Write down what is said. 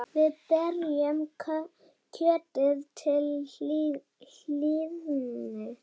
Við berjum kjötið til hlýðni.